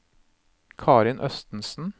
Karin Østensen